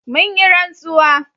mun yi rantsuwa